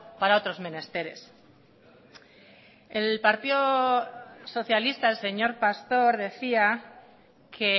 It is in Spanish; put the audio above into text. para otros menesteres el partido socialista el señor pastor decía que